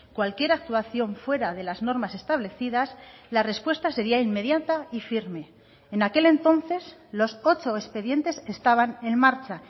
cualquier actuación fuera de las normas establecidas la respuesta seria inmediata y firme en aquel entonces los ocho expedientes estaban en marcha